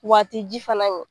Wa a ti ji fana min